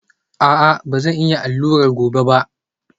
A'a, ba zan yi allurar gobe ba